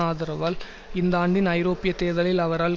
ஆதரவால் இந்த ஆண்டின் ஐரோப்பிய தேர்தலில் அவரால்